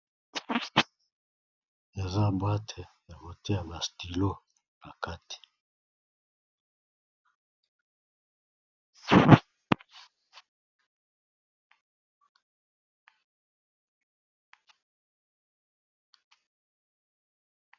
Aza bwate ya mote ya mastilo bakati